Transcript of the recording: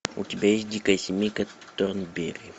у тебя есть дикая семейка торнберри